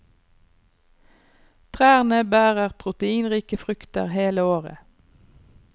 Trærne bærer proteinrike frukter hele året.